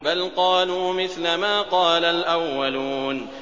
بَلْ قَالُوا مِثْلَ مَا قَالَ الْأَوَّلُونَ